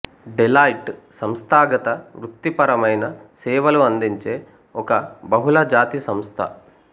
Deloitte సంస్థాగత వృత్తిపరమైన సేవలు అందించే ఒక బహుళజాతి సంస్థ